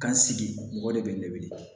Kan sigi mɔgɔ de bɛ ne weele